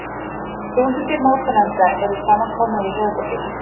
Þaðrftu að fara að vera jólasveinn núna, Jón Ólafur, spurði Orkídea Sól hljóðlega.